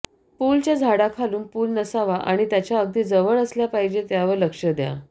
पूलच्या झाडाखालून पूल नसावा आणि त्याच्या अगदी जवळ असल्या पाहिजेत यावर लक्ष द्या